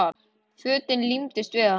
Fötin límdust við hana.